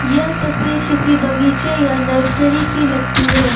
यह तस्वीर किसी बगीचे या नर्सरी की लगती है।